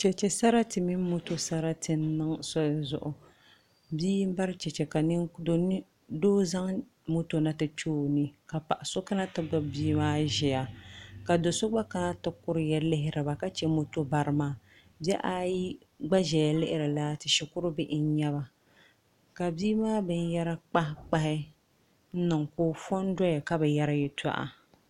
Chɛchɛ sarati mini moto sarari n niŋ palli zuɣu bia n bari chɛchɛ ka doo zaŋ moto na ti kpɛ o ni ka paɣa so kana ti gbubi bia maa ʒiya ka do so gba kana ti kuriya lihiriba ka chɛ moto bari maa bihi ayi gba ʒɛya lihiri laati shikuru bihi n nyɛba ka bia maa binyɛra kpahi kpahi ka o fo n doya ka bi yɛri yɛltɔɣa